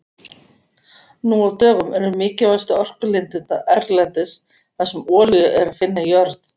Nú á dögum eru mikilvægustu orkulindirnar erlendis þar sem olíu er að finna í jörð.